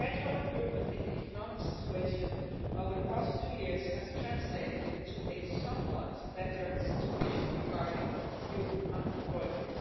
The gradual improvement in the economic situation over the past two years has translated into a somewhat better situation regarding youth unemployment.